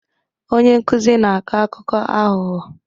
Onye nkuzi na-akọ akụkọ aghụghọ